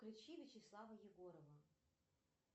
включи вячеслава егорова